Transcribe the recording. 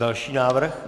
Další návrh.